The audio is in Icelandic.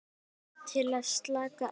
Til að slaka á.